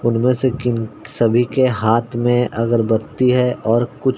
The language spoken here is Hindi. उनमे से किन सभी के हाथ में अगरबती है और कुछ --